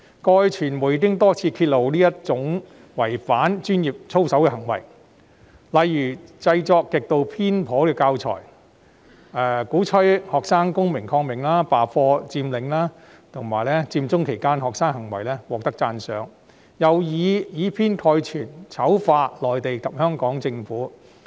過去傳媒多次揭露這種違反專業操守的行為，例如有教師製作極度偏頗的教材，鼓吹學生公民抗命、罷課、佔領，並對學生在佔中期間的行為予以讚賞，更以偏概全地醜化內地及香港政府。